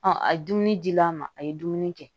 a ye dumuni dila ma a ye dumuni kɛ